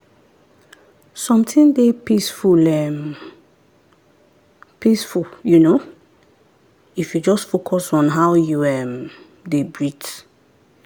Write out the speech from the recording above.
something dey peaceful um peaceful um if you just focus on how you um dey breathe.